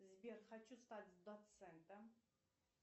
сбер хочу стать доцентом